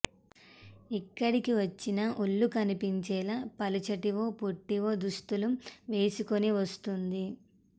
ఎక్కడికి వచ్చినా ఒళ్లు కనిపించేలా పలుచటివో పొట్టివో దుస్తులు వేసుకుని వస్తోంది